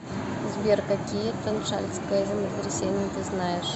сбер какие таншаньское землетрясение ты знаешь